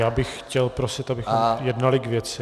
Já bych chtěl prosit, abychom jednali k věci...